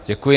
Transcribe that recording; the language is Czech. Děkuji.